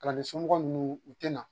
Kalanden somɔgɔ ninnu u tɛna.